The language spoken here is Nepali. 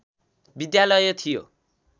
विद्यालय थियो।